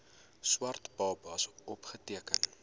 swart babas opgeteken